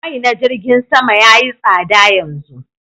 Mai na jirgin Sama yayi tsada yanzu